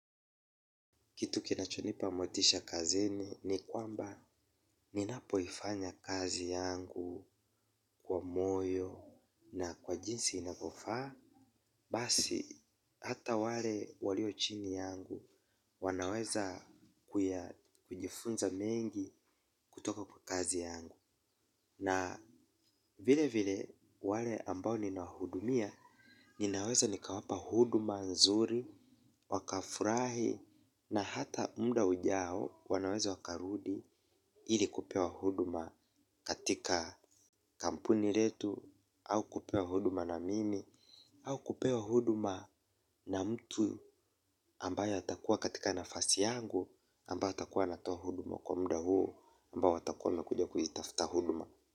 Kitu kinachonipa motisha kazini ni kwamba ninapoifanya kazi yangu kwa moyo na kwa jinsi inavyo faa. Basi hata wale walio chini yangu wanaweza kujifunza mengi kutoka kwa kazi yangu. Na vile vile wale ambao ninahudumia ninaweza nikawapa huduma nzuri, wakafurahi na hata muda ujao wanaweza wakarudi ilikupewa huduma katika kampuni letu au kupewa huduma na mimi au kupewa huduma na mtu ambaye atakuwa katika nafasi yangu ambaye atakuwa anatoa huduma kwa muda huo ambao watakuwa wamekuja kuitafuta huduma.